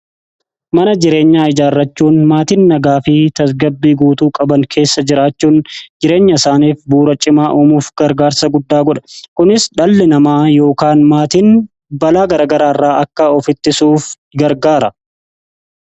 Mana jireenyaa ijaarrachuun maatiin nagaa fi tasgabbii guutuu qaban keessa jiraachuun jireenya isaaniif bu'uura cimaa uumuuf gargaarsa guddaa godha. Kunis dhalli namaa yookaan maatiin balaa garaagaraarraa akka of ittisuuf gargaara.